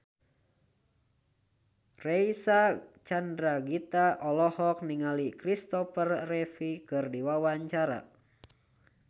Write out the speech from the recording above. Reysa Chandragitta olohok ningali Kristopher Reeve keur diwawancara